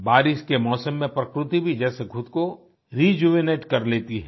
बारिश के मौसम में प्रकृति भी जैसे खुद को रिजुवेनेट कर लेती है